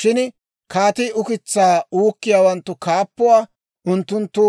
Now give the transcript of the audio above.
Shin kaatii ukitsaa uukkiyaawanttu Kaappuwaa unttunttu